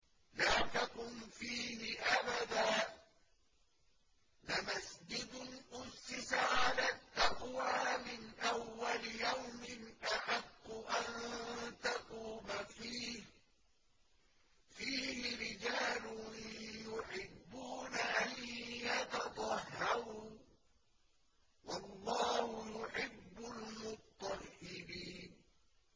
لَا تَقُمْ فِيهِ أَبَدًا ۚ لَّمَسْجِدٌ أُسِّسَ عَلَى التَّقْوَىٰ مِنْ أَوَّلِ يَوْمٍ أَحَقُّ أَن تَقُومَ فِيهِ ۚ فِيهِ رِجَالٌ يُحِبُّونَ أَن يَتَطَهَّرُوا ۚ وَاللَّهُ يُحِبُّ الْمُطَّهِّرِينَ